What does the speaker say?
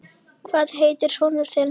Hvað heitir sonur þinn?